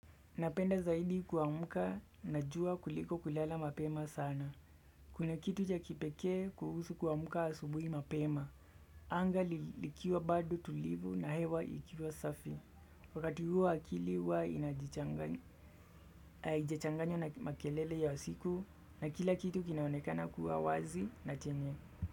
Napenda zaidi kuamka na jua kuliko kulala mapema sana. Kuna kitu ja kipekee kuhusu kuamka asubuhi mapema a anga likiwa baado tulivu na hewa ikiwa safi. Wakati huo akili huwa inajichanganyo na makelele ya siku na kila kitu kinaonekana kuwa wazi na chenye.